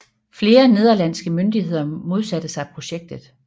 Flere nederlandske myndigheder modsatte sig projektet